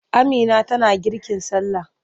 Amina tana girkin sallah.